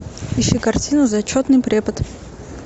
ищи картину зачетный препод